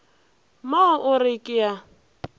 mo o re ke a